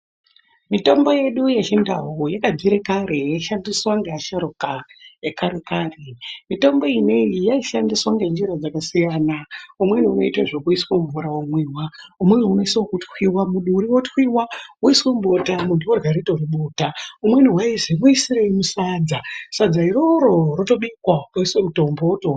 Mitombo yedu yechiNdau yakabvire kare yeishandiswa ngeasharuka ekare kare, mitombo ineyi yaishandiswa ngenjira dzakasiyana umweni woite zvekuiswe mumvura womwiwa umweni unoise wekutwiyiwa muduri wotwiyiwa, woiswe mubota muntu orya ritori bota umweni waizi muisirei musadza, sadza iroro rotobikwa poiswe mutombo wotoo...